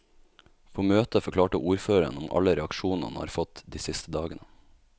På møtet forklarte ordføreren om alle reaksjonene han har fått de siste dagene.